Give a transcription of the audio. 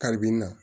Kalibi in na